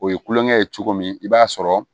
O ye kulonkɛ ye cogo min i b'a sɔrɔ